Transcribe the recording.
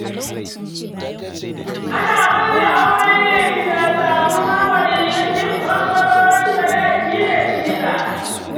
Ana ƙulla aure ne bisa samuwar: waliyan duk ɓangarorin, sadaki da siga.